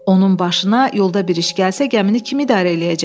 Onun başına yolda bir iş gəlsə, gəmini kim idarə eləyəcək?